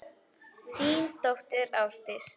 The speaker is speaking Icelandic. Þín dóttir, Ásdís.